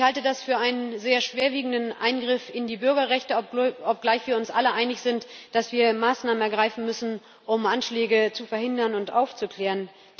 Ich halte das für einen sehr schwerwiegenden Eingriff in die Bürgerrechte, obgleich wir uns alle einig sind, dass wir Maßnahmen ergreifen müssen, um Anschläge zu verhindern und aufzuklären.